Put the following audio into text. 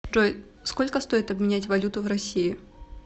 джой сколько стоит обменять валюту в россии